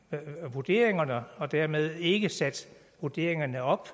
vurderingerne og dermed ikke sat vurderingerne op